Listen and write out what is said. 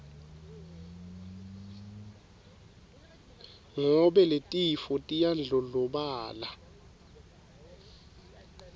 ngobe letifo tiyandlondlobala